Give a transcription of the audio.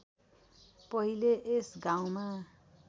पहिले यस गाउँमा